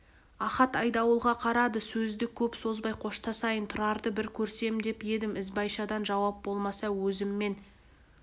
ахат айдауылға қарады сөзді көп созбай қоштасайын тұрарды бір көрсем деп едім ізбайшадан жауап болмаса өзіммен